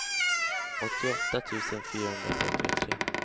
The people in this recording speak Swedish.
åttioåtta tusen fyrahundratrettiotre